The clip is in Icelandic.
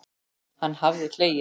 Hann hafði hlegið.